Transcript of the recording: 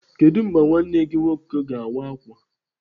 Kedụ mgbe nwanne gị nwoke ga-awa ákwà?